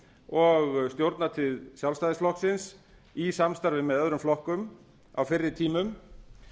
og stjórnartíð sjálfstæðisflokksins í samstarfi með öðrum flokkum á fyrri tímum